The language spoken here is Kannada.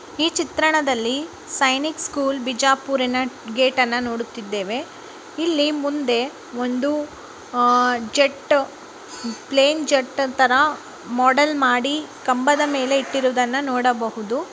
ಚಿತ್ರಣದಲ್ಲಿ ಸೈನಿಕ್ ಸ್ಕೂಲ್ ಬಿಜಾಪುರಿನ ಗೇಟನ್ನ ನೋಡುತ್ತಿದ್ದೇವೆ ಇಲ್ಲಿ ಮುಂದೆ ಒಂದು ಅಹ್ ಜೆಟ್ಟ ಪ್ಲೈನ್ ಜೆಟ್ಟ ತರ ಮೋಡಲ್ ಮಾಡಿ ಕಂಬದ ಮೇಲೆ ಇಟ್ಟಿರೋದನ್ನ ನೋಡಬಹುದು.